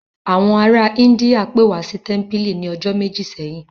Àwọn ará Íńdíà pe wa wá sí tẹ́mpìlì ní ọjọ́ méjì sẹ́yìn